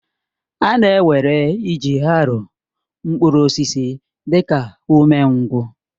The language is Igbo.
A na-ewere iji haroo mkpụrụ osisi dị ka umengwụ